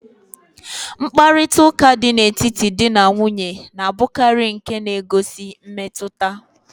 Mkparịtaụka dị n'etiti dị na nwunye na-abụkarị nke na-egosi mmetụta.